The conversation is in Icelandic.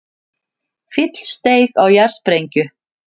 Fíll steig á jarðsprengju